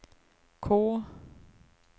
K